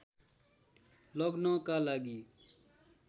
लग्नका लागि